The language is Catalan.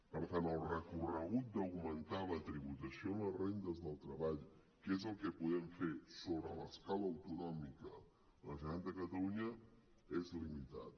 per tant el recorregut d’augmentar la tributació de les rendes del treball que és el que podem fer sobre l’escala autonòmica la generalitat de catalunya és limitat